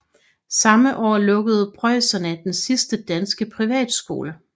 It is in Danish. Samme år lukkede preusserne den sidste danske privatskole